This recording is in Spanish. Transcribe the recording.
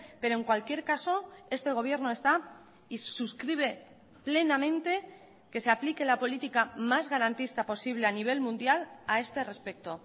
pero en cualquier caso este gobierno está y suscribe plenamente que se aplique la política más garantista posible a nivel mundial a este respecto